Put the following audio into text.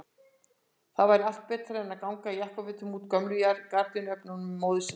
Það væri allt betra en að ganga í jakkafötum úr gömlu gardínuefni móður sinnar!